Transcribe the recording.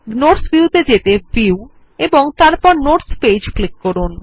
notes view ত়ে যেতে view এবং তারপর নোটস পেজ ক্লিক করুন